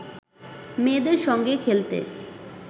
মেয়েদের সঙ্গে খেলতে